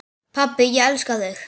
Pabbi, ég elska þig.